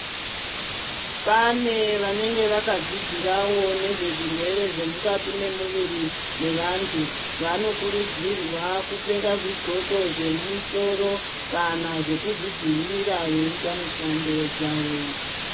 Pane vanenge vakadzidzirawo nezvezvirwere zvemukati mwemuviri mevantu. Vanokurudzirwa kupfeka zvidxoko zvemusoro kana zveku zvidzivirira veiita mishando dzawo.